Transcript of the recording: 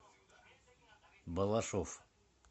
балашов